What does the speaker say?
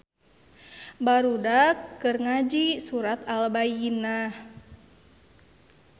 Barudak keur ngaji surat Al-bayyinah